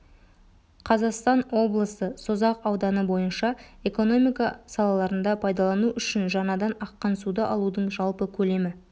қазастан облысы созақ ауданы бойынша экономика салаларында пайдалану үшін жаңадан аққан суды алудың жалпы көлемі